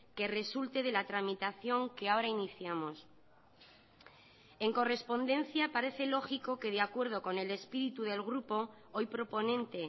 que resulte de la tramitación que ahora iniciamos en correspondencia parece lógico que de acuerdo con el espíritu del grupo hoy proponente